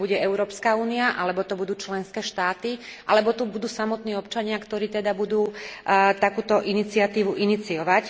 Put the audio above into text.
Či to bude Európska únia, alebo to budú členské štáty alebo to budú samotní občania, ktorí teda budú takúto iniciatívu iniciovať.